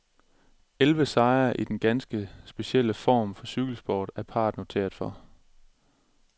Elleve sejre, i denne ganske specielle form for cykelsport, er parret noteret for.